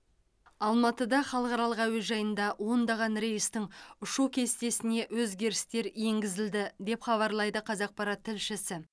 алматыда халықаралық әуежайында ондаған рейстің ұшу кестесіне өзгерістер енгізілді деп хабарлайды қазақпарат тілшісі